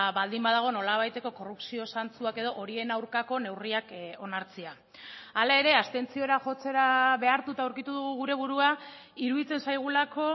baldin badago nolabaiteko korrupzio zantzuak edo horien aurkako neurriak onartzea hala ere abstentziora jotzera behartuta aurkitu dugu gure burua iruditzen zaigulako